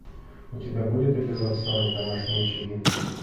у тебя будет эпизод сорок домашние очаги